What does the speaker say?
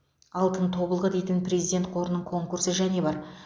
алтын тобылғы дейтін президент қорының конкурсы және бар